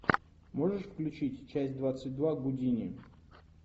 можешь включить часть двадцать два гудини